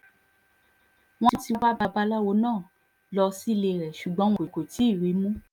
wọ́n ti wa babaláwo náà lọ sílé e ṣùgbọ́n wọn kò tí ì rí i mú